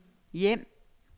hjem